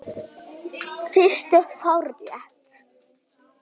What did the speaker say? Fyrstu fjárréttir